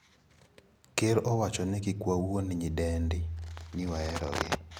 ker owacho ni kikwawuond nyidende ni waerogi.